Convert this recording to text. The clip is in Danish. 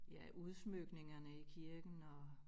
Ja udsmykningerne i kirken og